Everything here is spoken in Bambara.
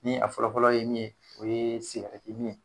Ni a fɔlɔfɔlɔ ye min ye o ye sigirɛti min ye.